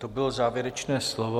To bylo závěrečné slovo.